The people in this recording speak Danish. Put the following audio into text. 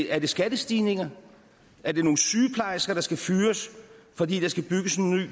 er det skattestigninger er det nogle sygeplejersker der skal fyres fordi der skal bygges en ny